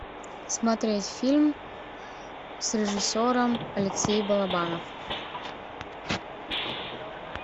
смотреть фильм с режиссером алексей балабанов